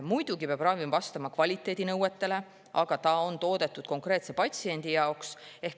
Muidugi peab ravim vastama kvaliteedinõuetele, aga ta on toodetud konkreetse patsiendi jaoks.